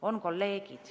On kolleegid.